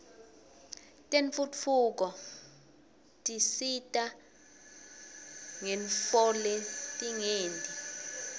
tentfutfuko tsisita ngetntfoletingenti